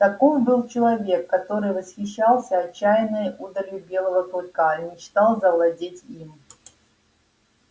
таков был человек который восхищался отчаянной удалью белого клыка и мечтал завладеть им